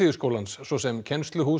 alþýðuskólans svo sem